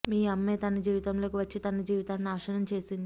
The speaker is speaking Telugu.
మీ అమ్మే తన జీవితంలోకి వచ్చి తన జీవితాన్ని నాశనం చేసింది